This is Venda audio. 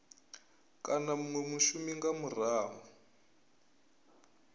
kana munwe mushumi nga murahu